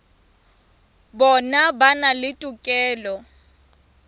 bona ba na le tokelo